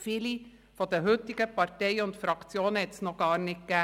Viele der heutigen Parteien und Fraktionen gab es damals noch nicht.